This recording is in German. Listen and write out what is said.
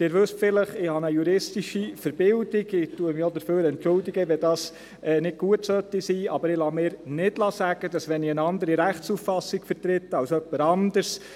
Sie wissen vielleicht, dass ich eine juristische Verbildung habe, und ich entschuldige mich auch dafür, wenn dies nicht gut sein sollte, aber ich lasse mir nicht sagen, dass ich hier lüge, wenn ich eine andere Rechtsauffassung vertrete als jemand anderes.